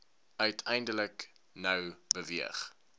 uiteindelik nou beweeg